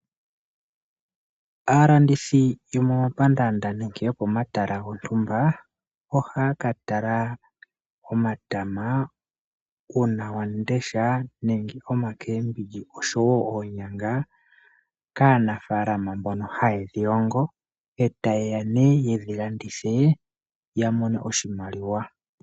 Aalandithi yomomapandaanda nenge yopomatala gontumba, ohaya ka tala omatama, uunawamundesha, nenge omakeebiji oshowo oonyanga kaanafalama mbono haye ga longo eta yeya nee yeyi landithe ya mone oshimaliwa .